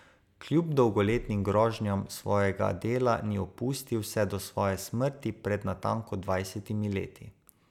Kljub dolgoletnim grožnjam svojega dela ni opustil vse do svoje smrti pred natanko dvajsetimi leti.